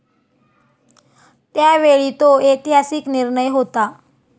त्यावेळी तो ऐतिहासिक निर्णय होता.